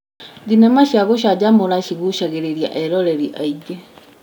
Thenema cia gũcanjamũra cigucagĩrĩria eroreri aingĩ.